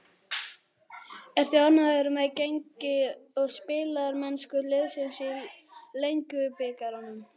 Ertu ánægður með gengi og spilamennsku liðsins í Lengjubikarnum?